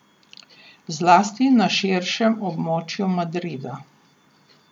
Zlasti na širšem območju Madrida.